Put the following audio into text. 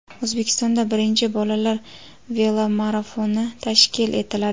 O‘zbekistonda birinchi bolalar velomarafoni tashkil etiladi.